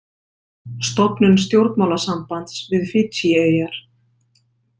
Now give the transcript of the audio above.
Stofnun stjórnmálasambands við Fídjieyjar.